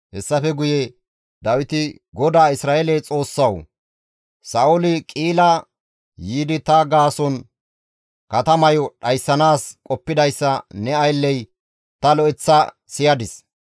Hessafe guye Dawiti, «GODAA Isra7eele Xoossawu! Sa7ooli Qi7ila yiidi ta gaason katamayo dhayssanaas qoppidayssa ne aylley ta lo7eththa siyadis.